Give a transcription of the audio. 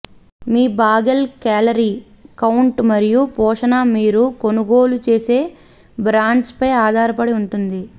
మీ bagel calorie count మరియు పోషణ మీరు కొనుగోలు చేసే బ్రాండ్పై ఆధారపడి ఉంటుంది